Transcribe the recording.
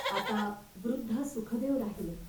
आता वृद्ध सुखदेव राहिले.